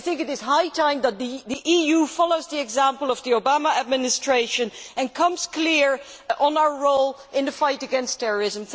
I think it is high time that the EU follows the example of the Obama Administration and comes clear on our role in the fight against terrorism.